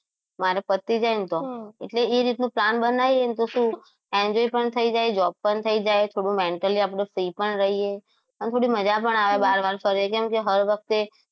મારે પતી જાય ને તો એટલે એ રીતનો plan બનાવીને તો શું enjoy પણ થઈ જાય job પણ થઈ જાય થોડું mentally આપણે free પણ રહીએ અને થોડી મજા પણ આવે બાર બાર ફરે કેમકે હર વખતે